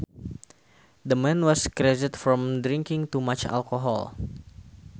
The man was crazed from drinking too much alcohol